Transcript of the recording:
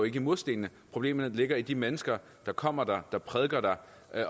ikke i murstenene problemet ligger i de mennesker der kommer der og som prædiker der